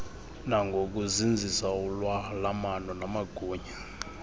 nangokuzinzisa ulwalamano namagunya